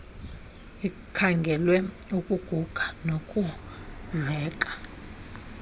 ikhangelwe ukuguga nokudleka